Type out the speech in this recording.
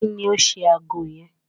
Kí ni ó ṣe ago yẹn?